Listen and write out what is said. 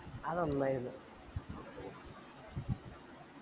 അത് അന്ന് ആയിരുന്നു